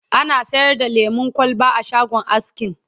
ana sayar da lemun kwalba a shagon askin